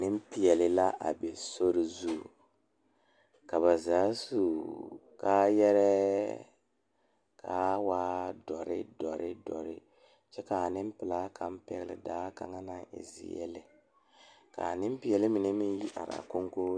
Pɔgeba ne dɔɔba la kaa dɔɔ kaŋa a are a su kpare pelaa kaa Yiri a die dankyini are kaa kolbaare a dɔgle tabol yi are a koge .